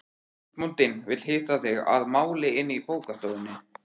Húsbóndinn vill hitta þig að máli inni í bókastofunni.